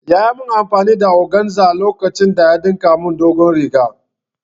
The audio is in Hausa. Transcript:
Yayi mun amfani da Oganza lokacin da ɗinka mun doguwar riga